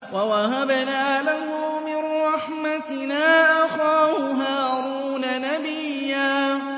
وَوَهَبْنَا لَهُ مِن رَّحْمَتِنَا أَخَاهُ هَارُونَ نَبِيًّا